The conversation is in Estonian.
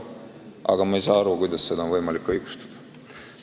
Aga ma ei saa aru, kuidas on seda võimalik õigustada.